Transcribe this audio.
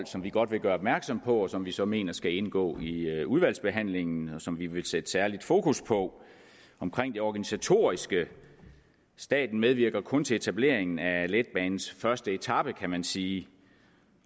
som vi godt vil gøre opmærksom på og som vi så mener skal indgå i udvalgsbehandlingen og som vi vil sætte særlig fokus på omkring det organisatoriske staten medvirker kun til etableringen af letbanens første etape kan man sige